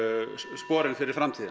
sporin fyrir framtíðina